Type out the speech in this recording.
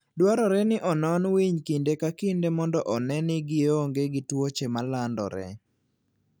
Dwarore ni onon winy kinde ka kinde mondo one ni gionge gi tuoche ma landore.